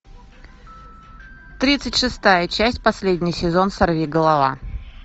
тридцать шестая часть последний сезон сорвиголова